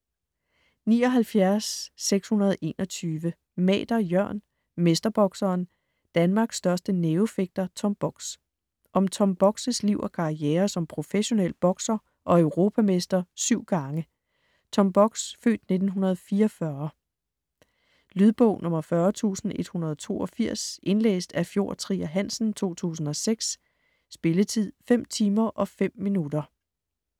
79.621 Mader, Jørn: Mesterbokseren: Danmarks største nævefægter Tom Bogs Om Tom Bogs' (f. 1944) liv og karriere som professionel bokser og europamester 7 gange. Lydbog 40182 Indlæst af Fjord Trier Hansen, 2006. Spilletid: 5 timer, 5 minutter.